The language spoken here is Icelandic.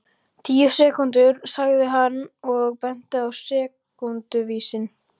Tíu sekúndur, sagði hann og benti á sekúnduvísinn.